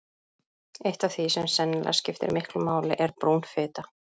Eitt af því sem sennilega skiptir miklu máli er brún fita.